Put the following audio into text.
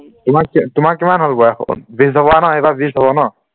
তোমাক তোমাৰ কিমান হলনো বয়স এইবাৰ বিছ হবান এইবাব বিছ হবন